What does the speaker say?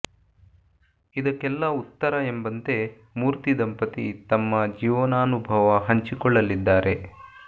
ಇದಕ್ಕೆಲ್ಲ ಉತ್ತರ ಎಂಬಂತೆ ಮೂರ್ತಿ ದಂಪತಿ ತಮ್ಮ ಜೀವನಾನುಭವ ಹಂಚಿಕೊಳ್ಳಲಿದ್ದಾರೆ